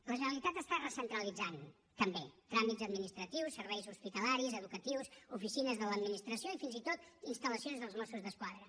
la generalitat està recentralitzant també tràmits administratius serveis hospitalaris educatius oficines de l’administració i fins i tot instal·lacions dels mossos d’esquadra